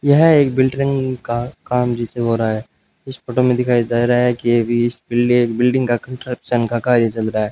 यह एक बिल्डिंग का काम नीचे हो रहा है इस फोटो में दिखाई दे रहा है कि ये भी बिल्डिंग का कंस्ट्रक्शन का कार्य चल रहा है।